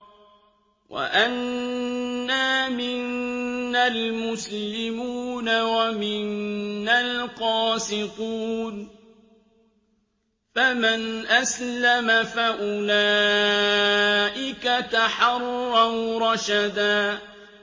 وَأَنَّا مِنَّا الْمُسْلِمُونَ وَمِنَّا الْقَاسِطُونَ ۖ فَمَنْ أَسْلَمَ فَأُولَٰئِكَ تَحَرَّوْا رَشَدًا